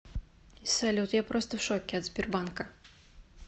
салют я просто в шоке от сбербанка